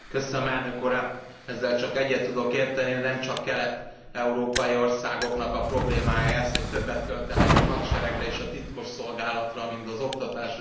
Ezzel csak egyet tudok érteni, de nem csak kelet európai országoknak a problémája ez, hogy többet költenek a hadseregre és a titkos szolgálatra, mint az oktatásra és kutatásra.